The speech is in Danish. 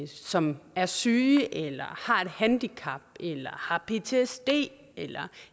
som er syge eller har et handicap eller har ptsd eller